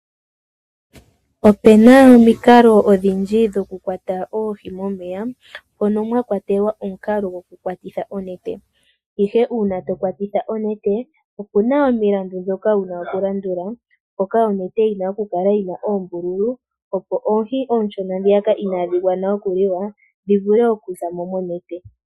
Opuna omikalo odhindji dhokukwata oohi momeya, mono mwa kwatelwa omukalo gwokukwatitha onete. Ihe uuna tokwatitha onete, opuna omilandu ndhoka wuna okulandula, mpoka onete yina okukala yina oombululu, opo oohi oonshona ndhiyaka inaadhi gwana okuliwa, dhi vule okuzamo monete.